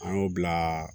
An y'o bila